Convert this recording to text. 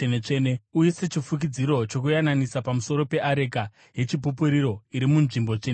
Uise chifukidziro chokuyananisa pamusoro peareka yeChipupuriro iri munzvimbo tsvene-tsvene .